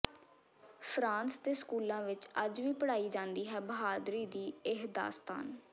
France ਦੇ ਸਕੂਲਾਂ ਵਿੱਚ ਅੱਜ ਵੀ ਪੜ੍ਹਾਈ ਜਾਂਦੀ ਹੈ ਬਹਾਦਰੀ ਦੀ ਇਹ ਦਾਸਤਾਨ